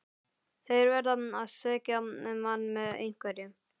Þeir verða að svekkja mann með einhverju.